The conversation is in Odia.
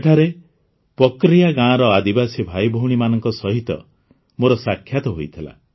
ସେଠାରେ ପକରିୟା ଗାଁର ଆଦିବାସୀ ଭାଇଭଉଣୀମାନଙ୍କ ସହିତ ମୋର ସାକ୍ଷାତ ହୋଇଥିଲା